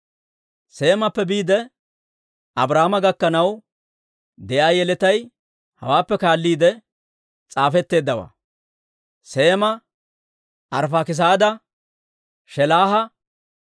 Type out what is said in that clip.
Seemappe biide, Abrahaama gakkanaw de'iyaa yeletay hawaappe kaalliide s'aafetteeddawaa: Seema, Arifaakisaada, Shelaaha,